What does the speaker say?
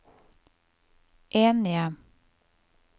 enige